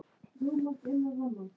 Við verðum að reyna aftur.